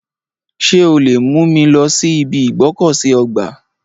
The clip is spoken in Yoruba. Ṣé o lè mú mi lọ sí ibi ìgbọ́kọ̀sí ọgbà?